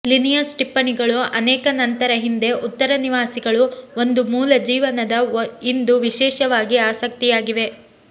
Linnaeus ಟಿಪ್ಪಣಿಗಳು ಅನೇಕ ನಂತರ ಹಿಂದೆ ಉತ್ತರ ನಿವಾಸಿಗಳು ಒಂದು ಮೂಲ ಜೀವನದ ಇಂದು ವಿಶೇಷವಾಗಿ ಆಸಕ್ತಿಯಾಗಿವೆ